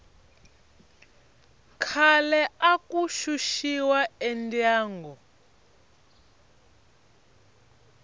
khale aku xuxiwa endyangu